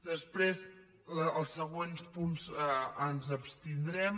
després en els següents punts ens abstindrem